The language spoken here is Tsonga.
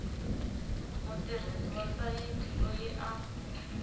mutirhisi wa sayiti loyi a